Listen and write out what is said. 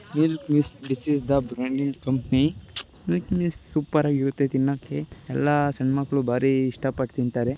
ಇರ್ miss this is the branding company ಸೂಪ್ಪರಾಗಿ ಇರತ್ತೆ ತಿನ್ನಕ್ಕ ಎಲ್ಲಾ ಸಣ್ಣ ಮಕ್ಕಳು ಬಾರೀ ಇಷ್ಟ ಪಟ್ ತಿಂತಾರೆ.